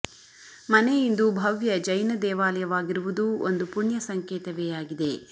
ಮನೆ ಇಂದು ಭವ್ಯ ಜೈನ ದೇವಾಲಯವಾಗಿರುವುದೂ ಒಂದು ಪುಣ್ಯ ಸಂಕೇತವೇ ಆಗಿದೆ